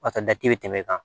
O ka dati bɛ tɛmɛ kan